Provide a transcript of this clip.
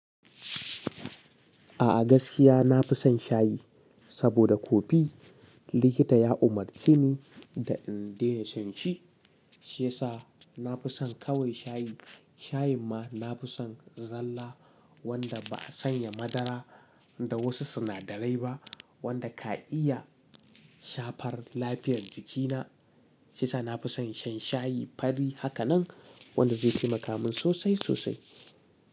A'a gaskiya na fi son shayi, saboda kofi likita ya umarce ni da in daina shan shi. Shi yasa na fi son kawai shayi. Shayin ma na fi son zalla wanda ba a sanya madara da wasu sinadarai ba, wanda ka iya shafar lafiyar jikina. Shi yasa na fi son shan shayi fari haka nan, wanda zai yi makamun sosai sosai.